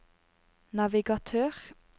navigatør